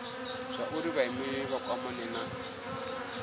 zwauri vhaimeleli vha kwamane na